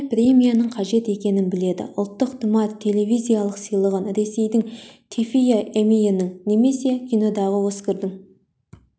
осындай премияның қажет екенін біледі ұлттық тұмар телевизиялық сыйлығын ресейдің тэфиі эммиінің немесе кинодағы оскардың